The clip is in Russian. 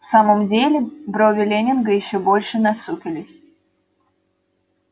в самом деле брови лэннинга ещё больше насупились